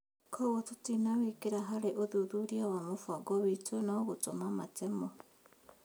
Koguo tũtinawĩkĩra harĩ ũthuthuria wa mũbango witũ no gũtũma matemo